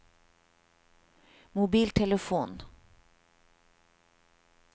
mobiltelefon